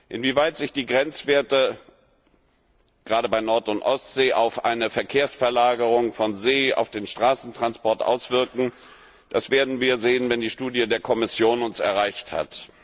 Inwieweit sich die Grenzwerte gerade bei Nord und Ostsee auf eine Verkehrsverlagerung vom See auf den Straßentransport auswirken, das werden wir sehen, wenn die Studie der Kommission uns erreicht hat.